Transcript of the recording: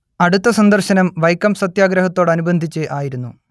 അടുത്ത സന്ദർശനം വൈക്കം സത്യാഗ്രഹത്തോടനുബന്ധിച്ച് ആയിരുന്നു